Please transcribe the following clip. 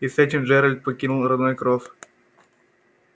и с этим джералд покинул родной кров